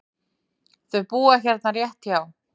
Þau búa hérna rétt hjá.